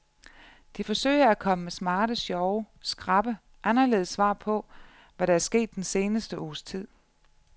De forsøger at komme med smarte, sjove, skrappe, anderledes svar på, hvad der er sket den seneste uges tid.